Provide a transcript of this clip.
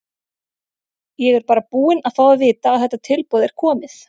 Ég er bara búinn að fá að vita að þetta tilboð er komið.